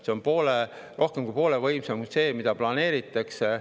See on rohkem kui poole võimsam kui see, mida planeeritakse.